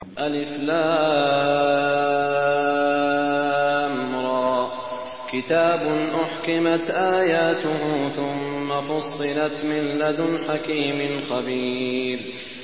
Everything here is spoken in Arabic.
الر ۚ كِتَابٌ أُحْكِمَتْ آيَاتُهُ ثُمَّ فُصِّلَتْ مِن لَّدُنْ حَكِيمٍ خَبِيرٍ